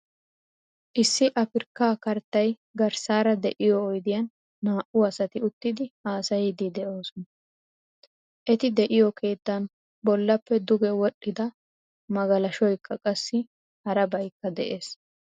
Issi Afrikka karttay garssara de'iyo oydiyan naa"u asati uttidi haasayidi de'oosona. Eti de'iyo keettan bollappe duge wodhdhida magalashoykka qassi harabaykka de'ees.